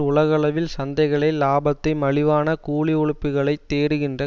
உலகளவில் சந்தைகளை லாபத்தை மலிவான கூலி உழைப்புக்களைத் தேடுகின்ற